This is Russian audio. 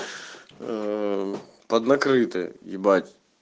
под накрытой ебать